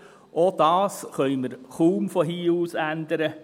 Auch das können wir kaum von hier aus ändern.